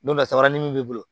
Don nasara ni min b'i bolo